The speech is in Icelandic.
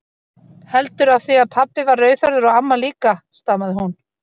Heldur af því að pabbi var rauðhærður og amma líka, stamaði hún.